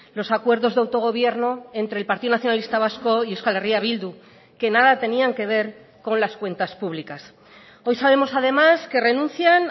los acuerdos de autogobierno entre el partido nacionalista vasco y euskal herria bildu que nada tenían que ver con las cuentas públicas hoy sabemos además que renuncian